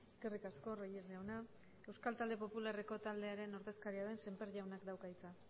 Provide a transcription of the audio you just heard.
eskerrik asko reyes jauna euskal talde popularreko taldearen ordezkaria den semper jaunak dauka hitza